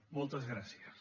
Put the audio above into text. moltes gràcies